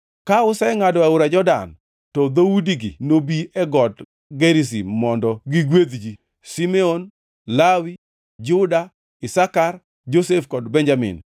Ka usengʼado aora Jordan, to dhoudigi nobi e Got Gerizim mondo gigwedh ji: Simeon, Lawi, Juda, Isakar, Josef kod Benjamin.